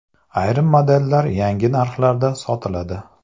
Ayrim modellar yangi narxlarda sotiladi.